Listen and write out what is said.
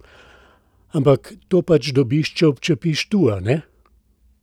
Ampak to pač dobiš, če občepiš tu, a ne?